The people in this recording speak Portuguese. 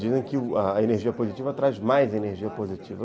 Dizem que a energia positiva traz mais energia positiva.